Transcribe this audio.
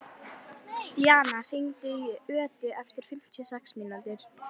Díanna, hringdu í Ödu eftir fimmtíu og sex mínútur.